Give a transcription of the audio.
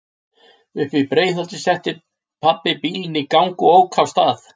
Uppí Breiðholti setti pabbi bílinn í gang og ók af stað.